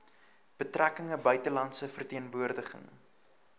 betrekkinge buitelandse verteenwoordiging